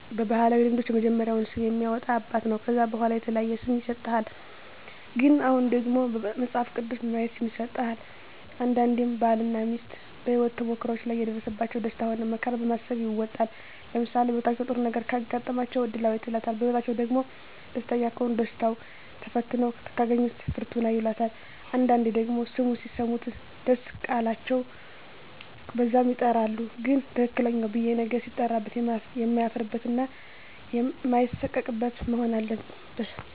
በባህላዊ ልምዶች የመጀመሪያውን ስም የሚያወጣ አባት ነው ከዛ በዋላ የተለያየ ስም ይሰጥሃል ግን አሁን ደግሞ መጸሀፍ ቅዱስ በማየት ስም ይሠጣል አንዳንዴም ባል እና ሜስት በሄወት ተሞክሮዎች ላይ የደረሰባቸው ደስታ ሆነ መከራ በማሰብ ይወጣል ለምሳሌ በህይወታቸው ጥሩ ነገረ ካጋጠማቸው እድላዌት ይላታል በህይወትአቸዉ ደግሞ ደስተኛ ከሆኑ ደስታው ተፈትነው ካገኛት ደግሞ ፍርቱና ይላታል አንዳንዴ ደግሞ ስሙ ሲሰሙት ደስ ቃላቸው በዛም ይጠራሉ ግን ትክክለኛው ብየ ነገ ሲጠራበት የማያፍርበት እና ማይሳቀቅበት መሆን አለበት